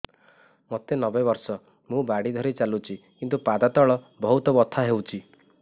ମୋତେ ନବେ ବର୍ଷ ମୁ ବାଡ଼ି ଧରି ଚାଲୁଚି କିନ୍ତୁ ପାଦ ତଳ ବହୁତ ବଥା ହଉଛି